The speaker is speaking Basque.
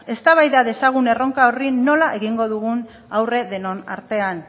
eztabaida dezagun erronka horri nola egingo dugun aurre denon artean